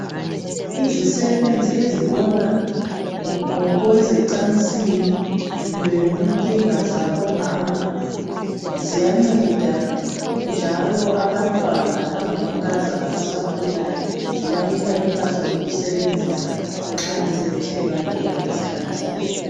Izisebenzi ezibona ngokwezocansini lenkinga zabo mama ziyanceda njalo abantwana abangamankazana abasakhulayo zibanika impahla zokusebenzisa nxa sebethe bangena esikhathini.